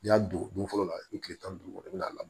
N'i y'a don don fɔlɔ la i bi kile tan ni duuru i bi n'a la